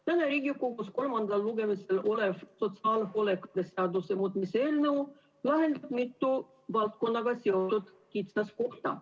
Täna Riigikogus kolmandal lugemisel olev sotsiaalhoolekande seaduse muutmise seaduse eelnõu lahendab mitu valdkonnaga seotud kitsaskohta.